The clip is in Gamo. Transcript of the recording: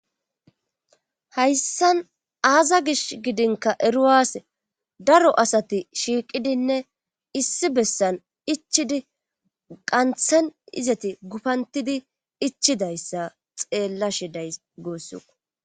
Hayssan aaza gish gidinka eruwaas daro asati shiiqidinne issi bessan ichidi qanthen izati gupantidi ichidayssa xeella shiday gooss